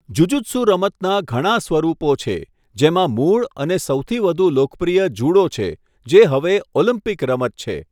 Jujutsu રમતના ઘણા સ્વરૂપો છે, જેમાં મૂળ અને સૌથી વધુ લોકપ્રિય જુડો છે, જે હવે ઓલિમ્પિક રમત છે.